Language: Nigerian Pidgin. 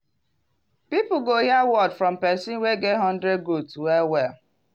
people go hear word from person wey get hundred goat well-well.